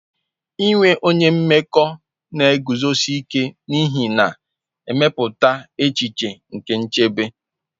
Inwe onye mmekọ na-eguzosi ike n'ihe na-emepụta echiche nke nchebe.